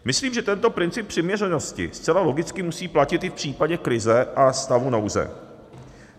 Myslím, že tento princip přiměřenosti zcela logicky musí platit i v případě krize a stavu nouze.